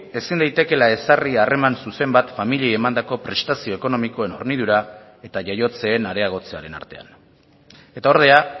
ezin daitekeela ezarri harreman zuzen bat familiei emandako prestazio ekonomikoen hornidura eta jaiotzeen areagotzearen artean eta ordea